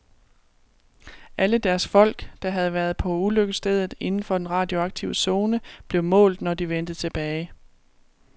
Alle deres folk, der havde været på ulykkesstedet inden for den radioaktive zone, blev målt, når de vendte tilbage.